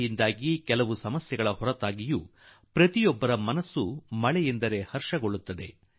ಮಳೆಯಿಂದ ಕೆಲವು ಕಷ್ಟಗಳು ಉಂಟಾದರೂ ಕೂಡಾ ಪ್ರತಿ ಮನಸ್ಸು ಪ್ರತಿ ಮಾನವೀಯ ಮನ ಪುಳಕಿತಗೊಳ್ಳುತ್ತದೆ